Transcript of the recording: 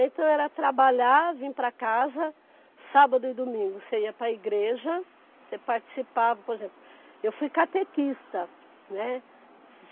Então era trabalhar, vir para casa, sábado e domingo você ia para a igreja, você participava, por exemplo, eu fui catequista, né?